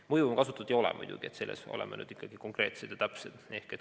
No mõjuvõimu siin muidugi kasutatud ei ole, oleme nüüd ikkagi konkreetsed ja täpsed.